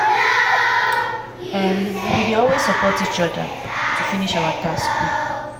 um we dey always support each other to finish our task quick.